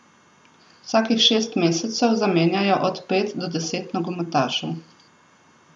Vsakih šest mesecev zamenjajo od pet do deset nogometašev.